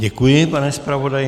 Děkuji, pane zpravodaji.